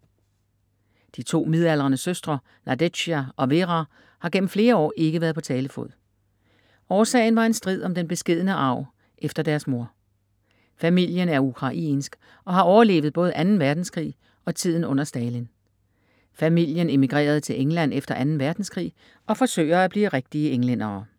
De to midaldrende søstre Nadezja og Vera har gennem flere år ikke været på talefod. Årsagen var en strid om den beskedne arv efter deres mor. Familien er ukrainsk og har overlevet både anden verdenskrig og tiden under stalin. Familien emigrerede til England efter anden verdenskrig og forsøger at blive rigtige englændere.